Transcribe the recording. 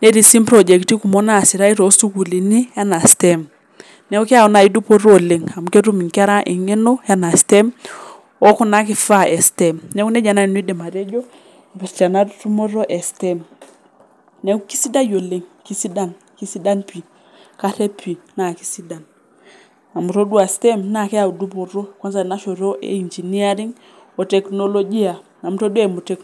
netii sii mprojekti kumok naasita too sukuluuni enmaa STEM, naaku keyau nai dupoto oleng amu ketum inkera ing'eno ena STEM oo kuna nkifaa e STEM[c] naaku neja naa nai nanu aidim atejo eipirta ena nkitumoto e STEM naaku kesidai oleng, kesidan karep p[ii naa kesidan amu itodua STEM ] naa keyau dupoto kwansa tena shoto e engineering o teknolojia amu otodua eimu teknoloji.